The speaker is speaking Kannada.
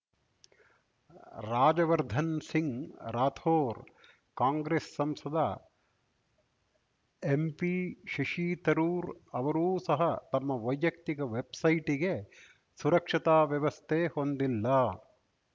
ರಾಜವರ್ಧನ್ ಸಿಂಗ್ ರಾಥೋರ್ ಕಾಂಗ್ರೆಸ್ ಸಂಸದ ಎಂಪಿ ಶಶಿತರೂರ್ ಅವರೂ ಸಹ ತಮ್ಮ ವೈಯಕ್ತಿಕ ವೆಬ್‌ಸೈಟಿಗೆ ಸುರಕ್ಷತಾ ವ್ಯವಸ್ಥೆ ಹೊಂದಿಲ್ಲ